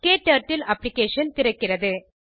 க்டர்ட்டில் அப்ளிகேஷன் திறக்கிறது